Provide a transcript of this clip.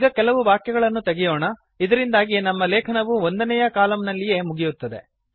ಈಗ ಕೆಲವು ವಾಕ್ಯಗಳನ್ನು ತೆಗೆಯೋಣ ಇದರಿಂದಾಗಿ ನಮ್ಮ ಲೇಖನವು ಒಂದನೇಯ ಕಾಲಮ್ ನಲ್ಲಿಯೇ ಮುಗಿಯುತ್ತದೆ